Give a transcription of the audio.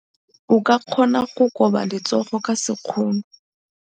O ka kgona go koba letsogo ka sekgono.